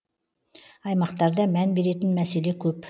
аймақтарда мән беретін мәселе көп